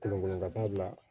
Kelen wele ka taa bila